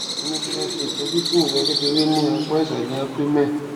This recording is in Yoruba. wá a ní kí a ṣe itọju fún ìrora kékeré ní apá ìsàlè abdomen